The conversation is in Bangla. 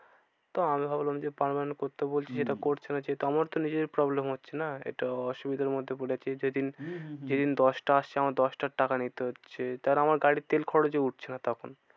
তো আমি ভাবলাম যে permanent করতে বলছি সেটা করছে না যেহেতু আমার তো নিজের problem হচ্ছে না। একটু অসুবিধার মধ্যে পরে যাচ্ছি যে দিন। হম হম হম যে দিন দশটা আসছে আমার দশটার টাকা নিতে হচ্ছে। তারপরে আমার গাড়ির তেল খরচ ও উঠছে না তখন।